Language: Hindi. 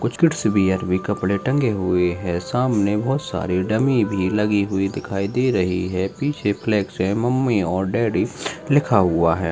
कुछ किड्स वियर के कपड़े टंगे हुए हैं सामने बहुत सारे डमी भी लगी हुई दिखाई दे रहे हैं पीछे फ्लेक्स है मम्मी और डैडी लिखा हुआ है।